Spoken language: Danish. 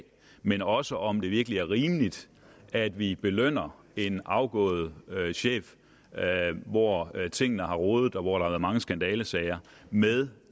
men også om hvorvidt det virkelig er rimeligt at vi belønner en afgået chef hvor tingene har rodet og hvor der har været mange skandalesager med